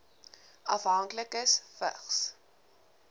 afhanklikes vigs